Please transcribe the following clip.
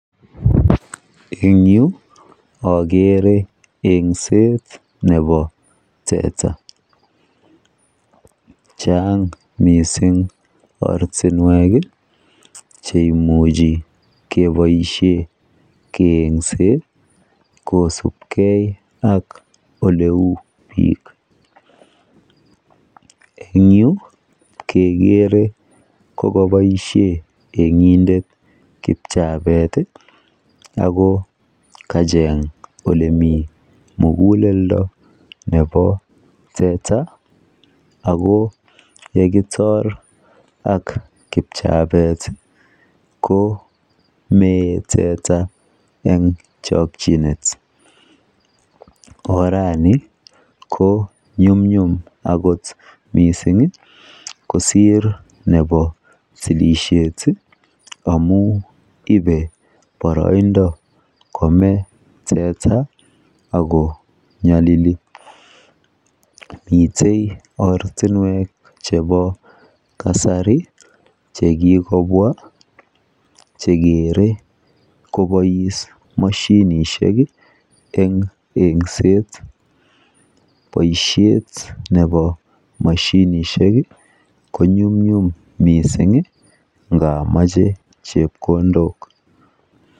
En yuu okere yengset nebo teta, Cheng missing ortinwek cheimuchi keboishen keyengset kosibgee ak oleu bik. En yuu kegere ko koboishen engindet kipchabet tii ako kacheng olemiten mikulendo nebo teta ako yekitor ak kipchabet ko mee teta en chokinet. Ko orani ko nyumnyum akot missing kosir nebo tilishet amun ibe boroindo komee teta ako nyolili, miten ortinwek chebo kasari chekikobwa chekere koboishen moshinishek en yengset boishet nebo moshinishek konyumnyum missingi ngamoche chepkondok.